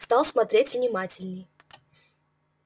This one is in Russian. стал смотреть внимательней